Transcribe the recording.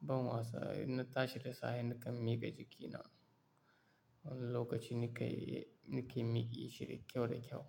ban wasa, in na tashi da safe nakan miƙa jikina. Wani lokaci nake, nake miƙe shi da kyau da kyau.